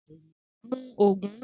Mú òògùn náà!